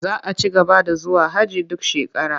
Za a ci gaba da zuwa hajji duk shekara.